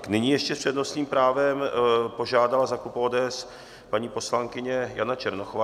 Nyní ještě s přednostním právem požádala za klub ODS paní poslankyně Jana Černochová.